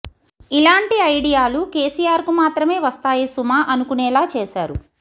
ఇలాంటి ఐడియాలో కేసీఆర్ కు మాత్రమే వస్తాయి సుమా అనుకునేలా చేశారు